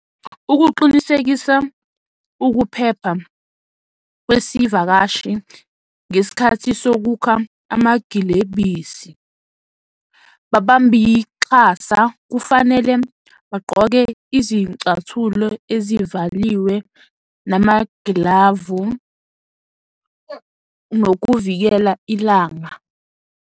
Ukuqinisekisa ukuphepha kwesivakashi ngesikhathi sokukha, amagilebisi. Babambiqhaza kufanele bagqoke izicathulo ezivaliwe namagilavu nokuvikela ilanga.